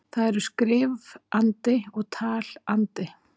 Það eru skrif-andi og tal-andi.